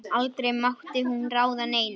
Aldrei mátti hún ráða neinu.